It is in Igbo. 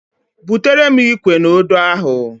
Butere m Ikwe na Odo ahu